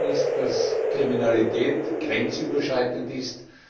Was wir sehen, ist, dass Kriminalität grenzüberschreitend ist.